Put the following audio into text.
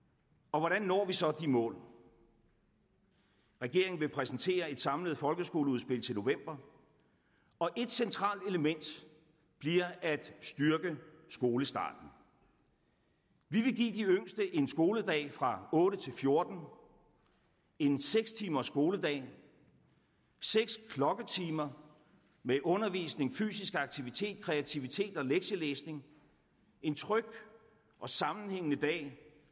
hvordan når vi så de mål regeringen vil præsentere et samlet folkeskoleudspil til november og et centralt element bliver at styrke skolestarten vi vil give de yngste en skoledag fra otte til fjorten en seks timers skoledag seks klokketimer med undervisning fysisk aktivitet kreativitet og lektielæsning en tryg og sammenhængende dag